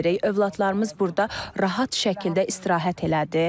Övladlarımız burda rahat şəkildə istirahət elədi.